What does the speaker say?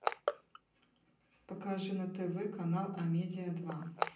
покажи на тв канал амедия два